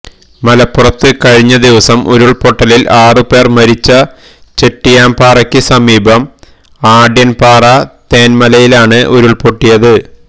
മലപ്പുറത്ത് കഴിഞ്ഞ ദിവസം ഉരുള്പൊട്ടലില് ആറ് പേര് മരിച്ച ചെട്ടിയാംപാറക്ക് സമീപം ആഢ്യന്പാറ തെന്മലയിലാണ് ഉരുള്പൊട്ടിയത്